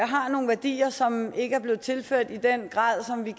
har nogle værdier som ikke er blevet tilført i den grad som vi